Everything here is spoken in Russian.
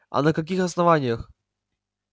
а на каких основаниях